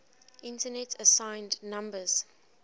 internet assigned numbers